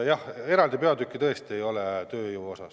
Jah, eraldi peatükki tööjõu kohta tõesti ei ole.